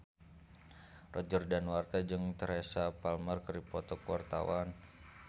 Roger Danuarta jeung Teresa Palmer keur dipoto ku wartawan